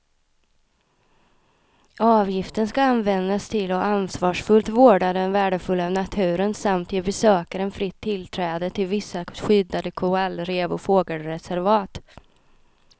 Avgiften ska användas till att ansvarsfullt vårda den värdefulla naturen samt ge besökaren fritt tillträde till vissa skyddade korallrev och fågelreservat.